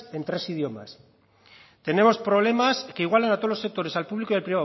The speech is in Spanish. en tres idiomas tenemos problemas que igualan a todos los sectores al público y al